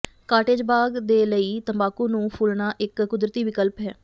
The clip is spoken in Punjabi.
ਕਾਟੇਜ ਬਾਗ਼ ਦੇ ਲਈ ਤੰਬਾਕੂ ਨੂੰ ਫੁੱਲਣਾ ਇੱਕ ਕੁਦਰਤੀ ਵਿਕਲਪ ਹੈ